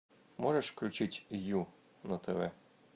можешь включить ю на тв